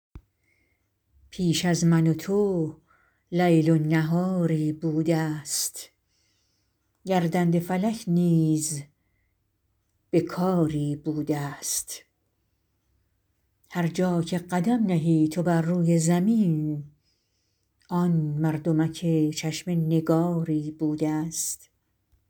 پیش از من و تو لیل و نهاری بوده ست گردنده فلک نیز به کاری بوده است هر جا که قدم نهی تو بر روی زمین آن مردمک چشم نگاری بوده ست